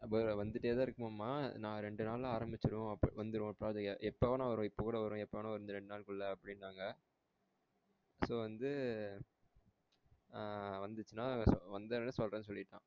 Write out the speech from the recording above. அதேதான் வந்துட்டே தான் இருகுமாமா நான் ரெண்டு நாள்ல ஆரம்பிச்சுடுவோம் வந்துரும் எப்ப வேணா வரும் இப்ப கூட வரும் எப்ப வேணா வரும் இந்த ரெண்டு நாளுக்குள்ள அப்டின்னாங்க so வந்து ஆஹ் வந்துச்சின்னா வந்தாகண சொல்றேன்னு சொல்லிர்கான்